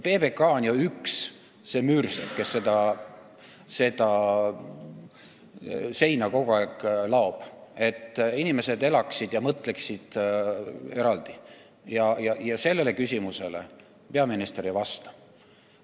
PBK on ju üks neid müürseppi, kes kogu aeg seda seina laob, et inimesed elaksid eraldi ja mõtleksid erinevalt, aga sellele küsimusele peaminister ei vasta.